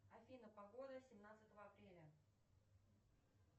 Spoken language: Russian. афина погода семнадцатого апреля